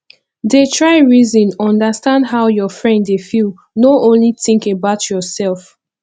dey try reason understand how your friend dey feel no only think about yourself